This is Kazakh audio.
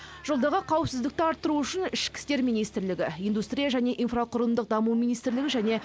жолдағы қауіпсіздікті арттыру үшін ішкі істер министрлігі индустрия және инфрақұрылымдық даму министрлігі және